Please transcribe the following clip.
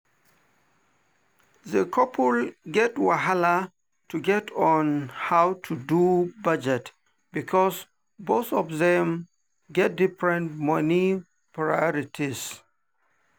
the couple get wahala to agree on how to do budget because both of them get different money priorities.